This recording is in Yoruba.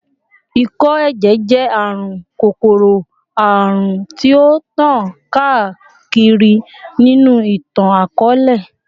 Ikọ-ẹjẹ jẹ arun kokoro-arun ti o tan kaakiri ninu itan-akọọlẹ